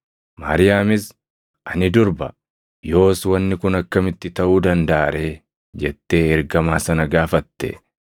Maariyaamis, “Ani durba; yoos wanni kun akkamitti taʼuu dandaʼa ree?” jettee ergamaa sana gaafatte.